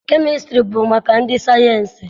Kemịstrị bụ maka ndị sayịensị